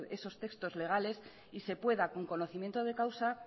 esos textos legales y se pueda con conocimiento de causa